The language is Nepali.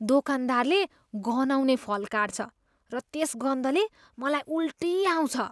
दोकानदारले गनाउने फल काट्छ र त्यस गन्धले मलाई उल्टी आउँछ।